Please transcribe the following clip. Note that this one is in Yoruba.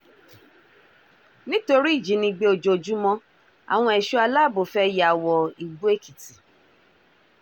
nítorí ìjínigbé ojoojúmọ́ àwọn ẹ̀ṣọ́ aláàbọ̀ fẹ́ẹ́ ya wọ igbó èkìtì